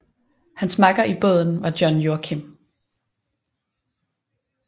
Hans makker i båden var John Joachim